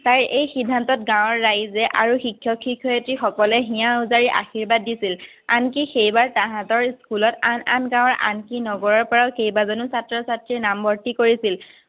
এই সিদ্ধান্তত গাঁৱৰ ৰাইজে আৰু শিক্ষক-শিক্ষয়িত্ৰীসকলে হিয়া উজাৰি আশিৰ্বাদ দিছিল। আনকি সেইবাৰ তাঁহাতৰ স্কুলত আন আন গাঁৱৰ আনকি নগৰৰপৰাও কেইবাজনো ছাত্ৰ-ছাত্ৰী নামভৰ্তী কৰিছিল।